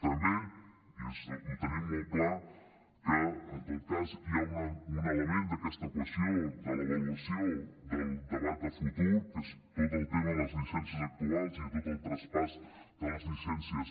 també i ho tenim molt clar que en tot cas hi ha un element d’aquesta equació de l’avaluació del debat de futur que és tot el tema de les llicències actuals i tot el traspàs de les llicències